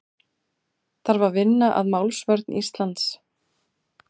Þarf að vinna að málsvörn Íslands